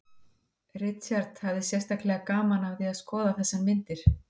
Richard hafði sérstaklega gaman af því að skoða þessar myndir